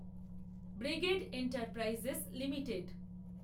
brigade Enterprises limited